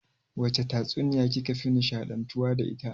Wace tatsuniya ki ka fi nishaɗantuwa da ita?